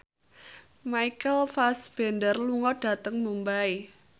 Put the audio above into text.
Michael Fassbender lunga dhateng Mumbai